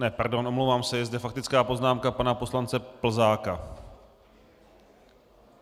Ne, pardon, omlouvám se, je zde faktická poznámka pana poslance Plzáka.